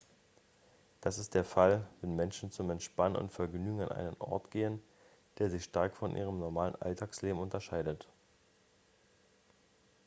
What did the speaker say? das ist der fall wenn menschen zum entspannen und vergnügen an einen ort gehen der sich stark von ihrem normalen alltagsleben unterscheidet